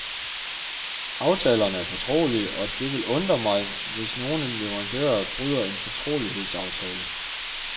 Aftalerne er fortrolige, og det vil undre mig, hvis nogle leverandører bryder en fortrolighedsaftale.